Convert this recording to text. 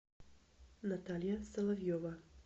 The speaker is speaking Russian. наталья соловьева